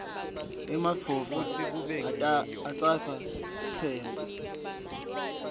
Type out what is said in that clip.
emadvodza atsatsa sitsembu